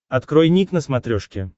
открой ник на смотрешке